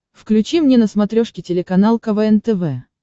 включи мне на смотрешке телеканал квн тв